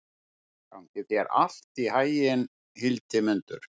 Gangi þér allt í haginn, Hildimundur.